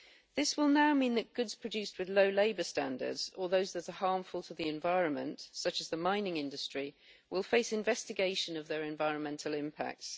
This will now mean that goods produced with low labour standards or those that are harmful to the environment, such as the mining industry, will face investigation of their environmental impacts.